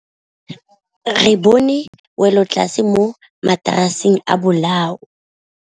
Re bone wêlôtlasê mo mataraseng a bolaô.